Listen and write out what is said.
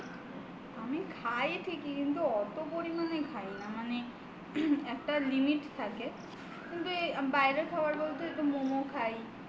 আমি খাই ঠিকই কিন্তু অত পরিমানে খাই না মানে একটা limit থাকে বাইরের খাবার বলতে